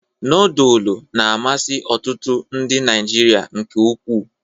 Nodulu na-amasị ọtụtụ ndị Naịjirịa nke ukwuu.